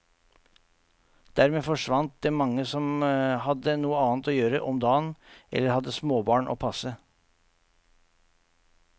Dermed forsvant det mange som hadde noe annet å gjøre om dagen, eller hadde småbarn å passe.